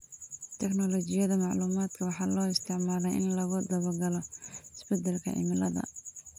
Tignoolajiyada macluumaadka waxaa loo isticmaalaa in lagu daba-galo isbedelka cimilada.